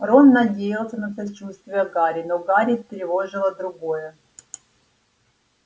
рон надеялся на сочувствие гарри но гарри тревожило другое